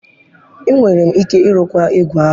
Enwere m ike ịrụkwa ígwè ahụ.